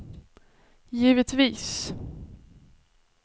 givetvis